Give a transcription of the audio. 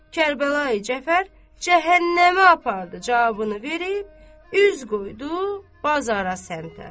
Kərbəlayi Cəfər cəhənnəmə apardı cavabını verib üz qoydu bazara səmtə.